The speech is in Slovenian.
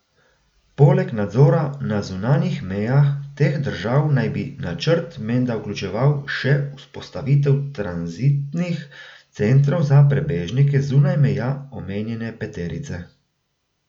Poleg nadzora na zunanjih mejah teh držav naj bi načrt menda vključeval še vzpostavitev tranzitnih centrov za prebežnike zunaj meja omenjene peterice.